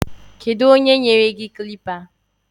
Keduonye nyere gi klịppa?